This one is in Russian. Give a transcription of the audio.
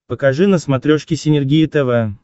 покажи на смотрешке синергия тв